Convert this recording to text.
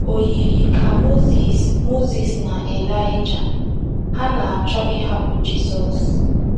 O yiri ka Mozis Mozis na Ịlaịja hà na - achọ ịhapụ Jizọs.